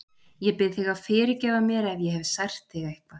Ég bið þig að fyrirgefa mér ef ég hef sært þig eitthvað.